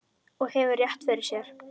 Og hefur rétt fyrir sér.